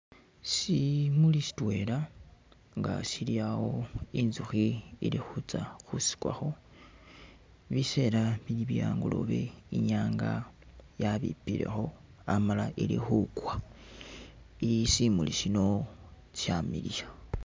Shimuli shitwela nga shili awo, inzukhi ilikhutsya khusikwakho, bisera bili bye'angolobe inyanga yabipilekho amala ili khukwa, simuli sino shamiliya.